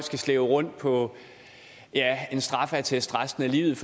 skal slæbe rundt på en straffeattest resten af livet